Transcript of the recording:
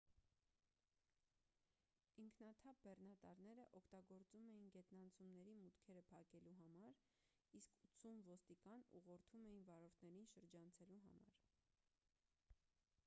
ինքնաթափ բեռնատարները օգտագործում էին գետնանցումների մուտքերը փակելու համար իսկ 80 ոստիկան ուղղորդում էին վարորդներին շրջանցելու համար